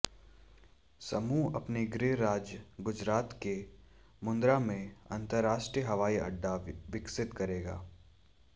समूह अपने गृह राज्य गुजरात के मुंद्रा में अंतरराष्ट्रीय हवाईअड्डा विकसित करेगा